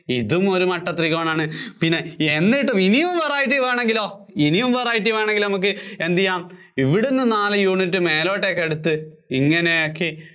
ഇതും ഒരു മട്ട ത്രികോണമാണ്. പിന്നെ എന്നിട്ടും ഇനിയും variety വേണമെങ്കിലോ, ഇനിയും variety വേണമെങ്കിലോ നമുക്ക് എന്തുചെയ്യാം ഇവിടുന്നു ഒരു നാല് unit മേലോട്ടേക്കെടുത്ത് ഇങ്ങനെ ആക്കി, ഇതും ഒരു മട്ട ത്രികോണമാണ്.